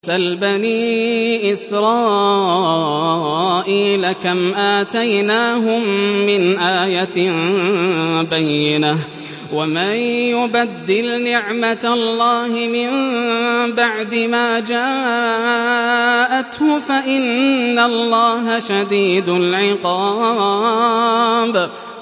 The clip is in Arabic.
سَلْ بَنِي إِسْرَائِيلَ كَمْ آتَيْنَاهُم مِّنْ آيَةٍ بَيِّنَةٍ ۗ وَمَن يُبَدِّلْ نِعْمَةَ اللَّهِ مِن بَعْدِ مَا جَاءَتْهُ فَإِنَّ اللَّهَ شَدِيدُ الْعِقَابِ